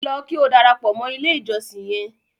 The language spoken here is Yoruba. Lọ kí o darapọ mọ ilẹ̀ ìjọ̀ṣìn yẹn!